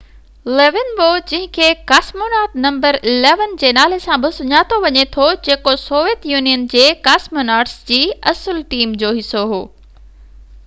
Leonov جنهن کي cosmonaut number 11 جي نالي سان بہ سڃاتو وڃي ٿو جيڪو سويت يونين جي ڪاسموناٽس جي اصل ٽيم جو حصو هو